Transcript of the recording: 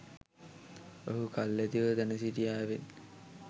ඔහු කල් ඇතිව දැන සිටියාවෙන්.